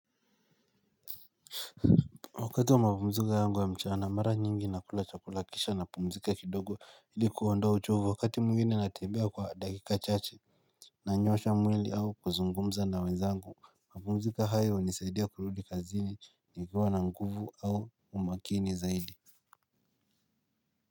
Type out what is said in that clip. Wakati wa mapumziko yangu wa mchana mara nyingi na kula chakula kisha na mapumzika kidogo ili kuondoa uchovu wakati mwingine natembea kwa dakika chache. Nanyoosha mwili au kuzungumza na wenzangu. Mapumziko haya hunisaidia kurudi kazini nikiwa na nguvu au umaakini zaidi.